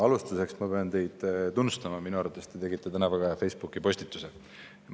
Alustuseks pean teid tunnustama, minu arvates te tegite täna Facebookis väga hea postituse.